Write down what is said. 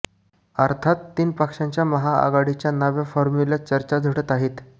अर्थात तीन पक्षांच्या महाआघाडीच्या नव्या फॉर्म्यूल्यात चर्चा झडत आहेत